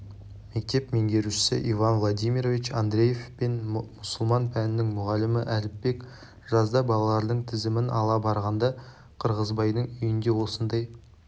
мектеп меңгерушісі иван владимирович андреев пен мұсылман пәнінің мұғалімі әліпбек жазда балалардың тізімін ала барғанда қырғызбайдың үйінде осындай